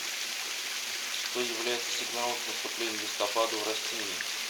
что является сигналом к наступлению листопада у растений